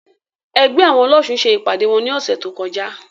Ẹgbẹ́ àwọn ọlọ́ṣun ṣe ìpàdé wọn ní ọ̀sẹ̀ tó kọjá.